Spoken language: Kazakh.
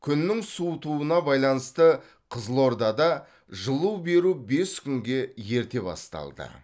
күннің суытуына байланысты қызылордада жылу беру бес күнге ерте басталды